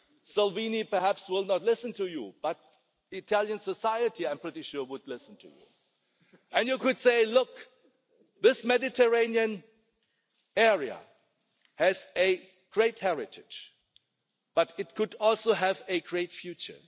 Salvini will perhaps not listen to you but Italian society I am pretty sure would listen to you and you could say, look, this Mediterranean area has a great heritage, but it could also have a great future.